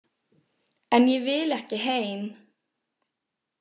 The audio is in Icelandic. En ég vil ekki heim.